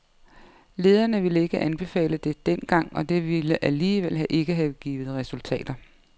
Lederne ville ikke anbefale det dengang, og det ville alligevel ikke have givet resultater.